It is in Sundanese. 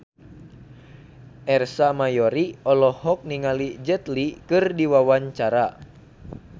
Ersa Mayori olohok ningali Jet Li keur diwawancara